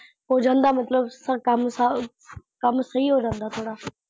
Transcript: ਹੋ ਜਾਂਦਾ ਮਤਲਬ ਸਾ ਕੰਮ ਸਾ ਕੰਮ ਸਹੀ ਹੋ ਜਾਂਦਾ ਥੋੜਾ।